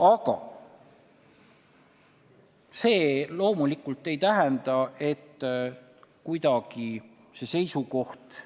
Aga see loomulikult ei tähenda, et see seisukoht